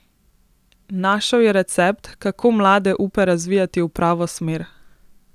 Našel je recept, kako mlade upe razvijati v pravo smer.